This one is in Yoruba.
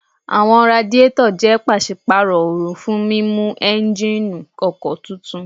Àwọn radiétọ̀ jẹ́ pàsípàrọ̀ oru fún mímú éúnjínì ọkọ̀ tutù